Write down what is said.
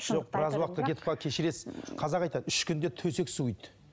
жоқ біраз уақытқа кетіп қалып кешіресіз қазақ айтады үш күнде төсек суиды